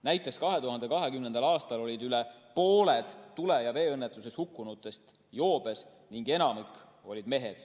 Näiteks, 2020. aastal olid üle pooled tule‑ ja veeõnnetustes hukkunutest joobes ning enamik olid mehed.